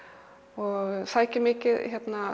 og sækir mikið